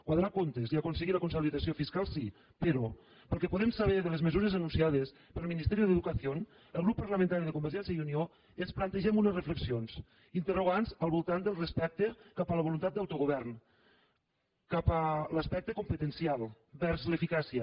quadrar comptes i aconseguir la consolidació fiscal sí però pel que podem saber de les mesures anunciades pel ministerio de educación el grup parlamentari de convergència i unió ens plantegem unes reflexions interrogants al voltant del respecte cap a la voluntat d’autogovern cap a l’aspecte competencial vers l’eficàcia